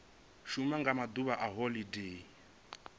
shuma nga maḓuvha a holodeni